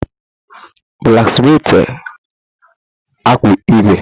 Blaksmitị akpụ ígwè.